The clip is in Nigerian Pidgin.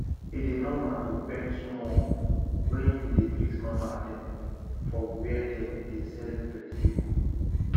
e dey normal to bend small when you dey greet mama dem for where dem dey sell vegetable